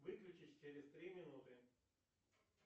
выключись через три минуты